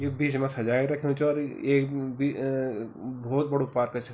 यु बीच मा सजाए रख्यूं च और एक बि अ बहौत बडू पार्क च।